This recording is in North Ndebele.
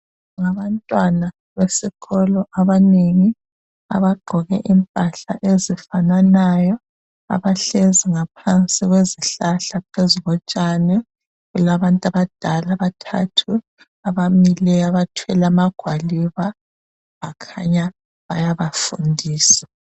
Ngabantwana besikolo abanengi abagqoke impahla ezifananayo. Abahlezi ngaphansi kwezihlahla phezukotshani. Kulabantu abadala, abathathu, abamileyo abathwele amagwaliba bakhanya bayabafundisa.